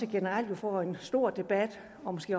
generelt vil få en stor debat og måske